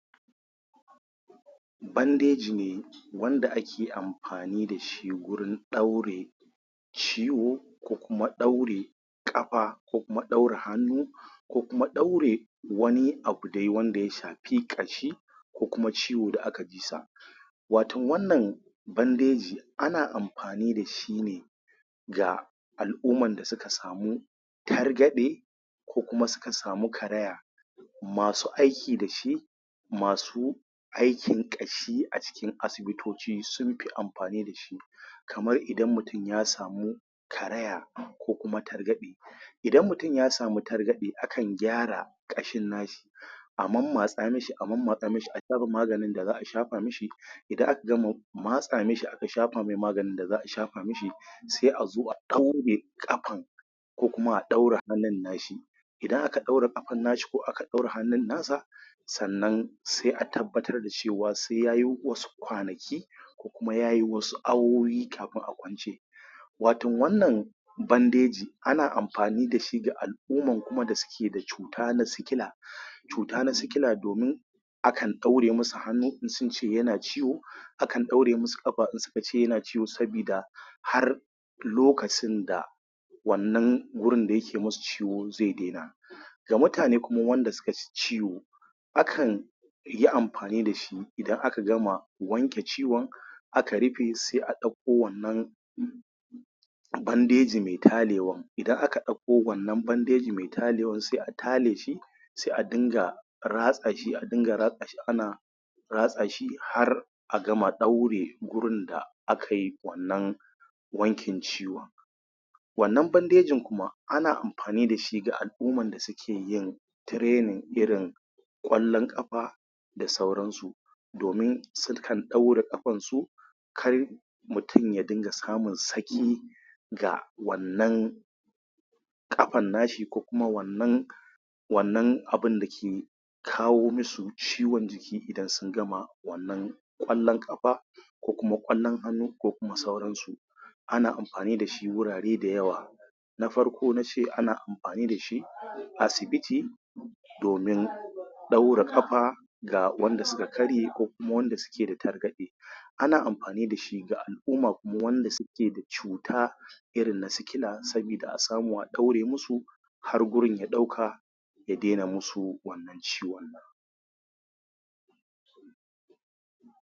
Bandeji ne wanda ake amfani da shi gurin ɗaure ciwo ko kuma ɗaure ƙafa ko kuma ɗaure hannu. kokuma ɗaure wani abu dai wanda ya shafi ƙashi ko kuma ciwo da aka ji sa. wao wannan bandeji ana amfani da shi ne ga al'umman da suka samu targaɗe ko kuma suka samu karaya. masu aiki da shi masu aikin ƙashia cikin asibitoci sun fiamfani da shi kamar idan mutum ya samu karaya ko kuma targaɗe idan mutum ya sami targaɗe akan gyara ƙashin nashi a mammatsa mashi a mammatsa mashi a gyara maganin da za shafa mashi, idan aka gama matsa mashi a ka shafa maganin da a safa mashi sai a zo a ɗaure ƙafan ko kuma a ɗaure hannun na shi idan aka aure ƙafan na shi ko kuma ak ɗaure hannun na sa sannan sai a tabbatar da cewa sai ya yi wasu kwanaki ko kuma ya yi wasu awowi kafin a kwance wato wannna bandeji ana amfani da shi wato ga al'umma da suke da cuta na sikila, cuta na sikila domin akan ɗaure masu hannu in sun ce yana ciwo, akan ɗaure masu ƙafa in sun ce tana ciwo sabida har lokacin da wannan gurin da yake musu ciwo zai daina. Ga mutane kuma wanda suka ji ciwo, akan yi amfani da shi idan ka gama wanke ciwon aka rufe sai a ɗakko wannan bandeji mai talewan, idan aka ɗakko wannan bandeji mai talewan sai a tale shi sai a dinga ratsa shi a na ratsa shi ana ratsa shi har a gama ɗaure gurin da aka yi wannan wankin ciwon. wannan bandejin kuma ana yin amfani da shi ga al'ummar da suke yin training irin ƙwallon ƙafa da sauransu, domin sukan ɗaure ƙafansu kar mutum ya dinga samun saki ga wannan ƙafan na shi ko kuma wannan wannan abun da ke kawo mishi ciwon jiki idan sun gama wannan ƙwallon ƙafa ko kuma ƙwallon hannu ko kuma sauransu ana amfani da shi a wurare vda ywa. na farko na ce ana amfani da shi a asibiti domin ɗaure ƙafa ga wanda suka karye ko kuma wanda suke da targaɗe, ana amfani da shi ga al'umma kuma wanda suke da cuta na sikila domin asamu a ɗaure musu har gurin ya ɗauka ya daina muwa wannan ciwon nan.